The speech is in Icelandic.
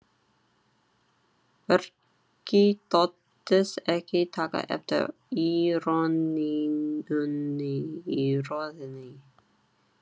Birkir þóttist ekki taka eftir íroníunni í röddinni.